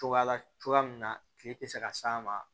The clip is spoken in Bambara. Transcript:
Cogoya la cogoya min na kile tɛ se ka s'a ma